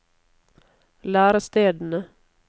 lærestedene